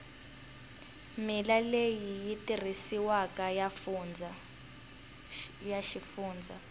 milawu leyi tirhisiwaka ya xifundza